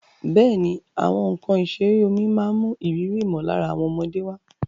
Bẹ́ẹ̀ni, àwọn nkan ìṣeré omi máa ń mú ìrírí ìmọ̀lára àwọn ọmọdé wá.